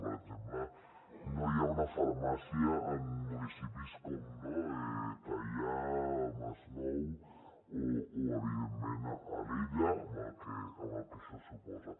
per exemple no hi ha una farmàcia en municipis com teià el masnou o evidentment alella amb el que això suposa